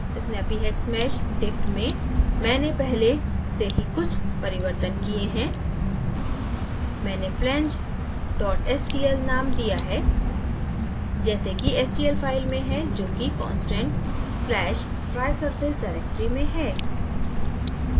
snappyhexmeshdict में मैंने पहले से ही कुछ परिवर्तन किए हैं मैंने flange stl named दिया है जैसे कि stl file में है जो कि constant/trisurface directory में है